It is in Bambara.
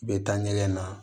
U bɛ taa ɲɛgɛn na